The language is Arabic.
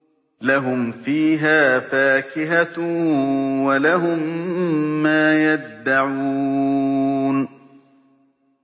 لَهُمْ فِيهَا فَاكِهَةٌ وَلَهُم مَّا يَدَّعُونَ